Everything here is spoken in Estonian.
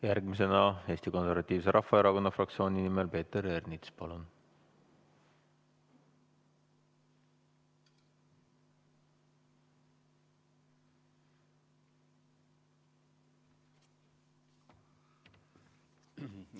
Järgmisena Eesti Konservatiivse Rahvaerakonna fraktsiooni nimel Peeter Ernits, palun!